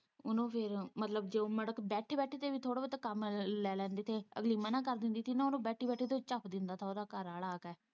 ਉਹਨੂੰ ਫੇਰ ਮਤਲਬ ਜੋ ਬੈਠੀ -ਬੈਠੀ ਤੇ ਵੀ ਥੋੜ੍ਹਾਂ ਬਹੁਤਾ ਕੰਮ ਲੈ ਲੈਂਦੀ ਤੇ ਅਗਲੀ ਮਨ੍ਹਾਂ ਕਰ ਦਿੰਦੀ ਸੀ ਨਾ ਉਹਨੂੰ ਬੈਠੀ ਬੈਠੀ ਤੋਂ ਹੀ ਚੱਫ਼ ਦਿੰਦਾ ਸੀ ਉਹਦਾ ਘਰਵਾਲਾ ਆ ਕੇ।